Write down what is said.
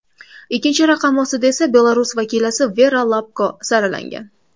Ikkinchi raqam ostida esa Belarus vakilasi Vera Lapko saralangan.